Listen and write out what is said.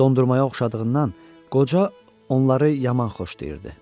Dondurmaya oxşadığından qoca onları yaman xoşlayırdı.